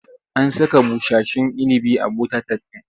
An saka busasshen inibi a bota-tat ɗin?